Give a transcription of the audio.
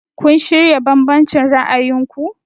Have you reconciled your different views?